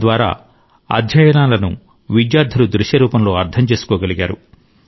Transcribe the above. తద్వారా అధ్యాయాలను విద్యార్థులు దృశ్యరూపంలో అర్థం చేసుకోగలిగారు